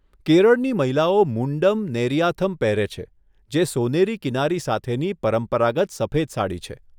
કેરળની મહિલાઓ મુંડમ નેરિયાથમ પહેરે છે, જે સોનેરી કિનારી સાથેની પરંપરાગત સફેદ સાડી છે.